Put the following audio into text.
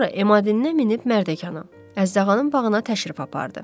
Sonra Emadindən minib Mərdəkan'a, Əjdahanın bağına təşrif apardı.